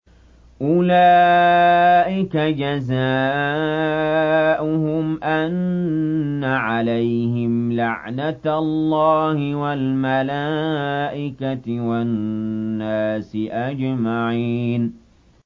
أُولَٰئِكَ جَزَاؤُهُمْ أَنَّ عَلَيْهِمْ لَعْنَةَ اللَّهِ وَالْمَلَائِكَةِ وَالنَّاسِ أَجْمَعِينَ